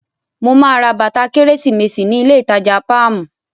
Mo máa ra bàtà kérésìmesì ní ilé ìtajà Páàmù.